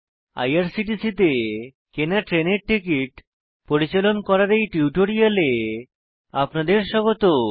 IRCTC তে কেনা ট্রেনের টিকিট পরিচালন করার এই টিউটোরিয়ালে আপনাদের স্বাগত